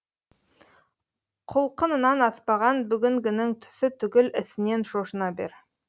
құлқынынан аспаған бүгінгінің түсі түгіл ісінен шошына бер